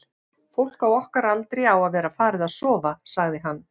fólk á okkar aldri á að vera farið að sofa, sagði hann.